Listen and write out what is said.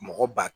Mɔgɔ ba